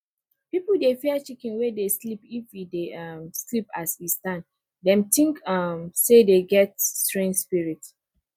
people dey fear chicken wey dey sleep if e dey um sleep as e stand dem think um say dem get strange spirit